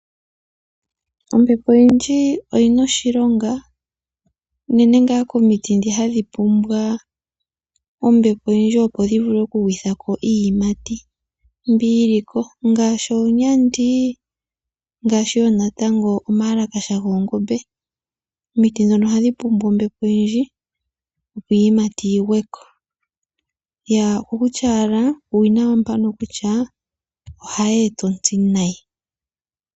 Ombepo oyindji oyi na oshilonga unene ngaa komiti ndhi hadhi pumbwa ombepo oyindji opo dhi vule oku gwitha ko iiyimati mbi yi li ko, ngaashi oonyandi nomayalakasha goongombe. Omiti ndhono ohadhi pula ombepo oyindji opo iiyimati yadho yi gwe ko. Uuwinayi wombepo owo mbuno kutya ohayi e ta ontsi nayi.